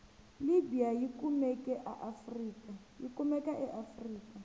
libya yikumeka aafrika